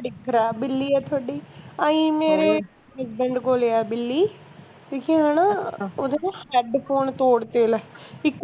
ਬੜੀ ਖਰਾਬ ਬਿੱਲੀ ਐ ਤੁਹਾਡੀ ਆਹੀ ਮੇਰੇ husband ਕੋਲ ਆ ਬਿੱਲੀ ਓਹਦੇ ਨਾ headphone ਤੋੜਤੇ ਲੈ ਇਕ